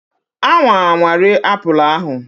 anwa anwa rie apple ahu!